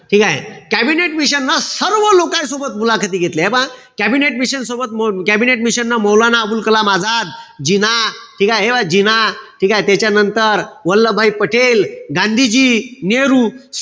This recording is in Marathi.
ठीकेय? कॅबिनेट मिशनन सर्व लोकाय सोबत मुलाखती घेतल्या. हे पहा, कॅबिनेट मिशन सोबत, कॅबिनेट मिशन न मौलाना अबुल कलाम आझाद, जिना, जिना, ठीकेय? त्याच्यानंतर, वल्लभभाई पटेल, गांधीजी, नेहरू,